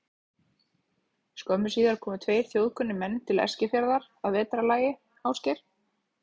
Skömmu síðar komu tveir þjóðkunnir menn til Eskifjarðar að vetrarlagi, Ásgeir